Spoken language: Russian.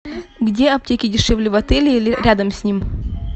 где аптеки дешевле в отеле или рядом с ним